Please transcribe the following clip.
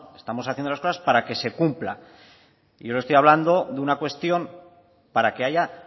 estamos haciendo las cosas para que se cumpla y yo le estoy hablando de una cuestión para que haya